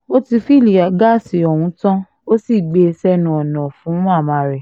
ó ti fìlílì gáàsì ọ̀hún tán ó sì gbé e sẹ́nu ọ̀nà fún màmá rẹ̀